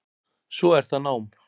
Svo er það nám.